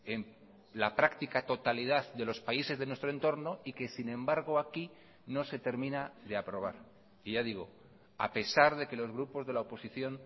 en la práctica totalidad de los países de nuestro entorno y que sin embargo aquí no se termina de aprobar y ya digo a pesar de que los grupos de la oposición